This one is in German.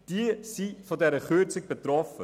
All jene sind von dieser Kürzung betroffen.